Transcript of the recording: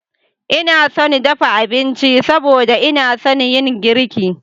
Ina son dafa abinci saboda ina son yin girki.